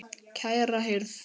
Kæra hirð.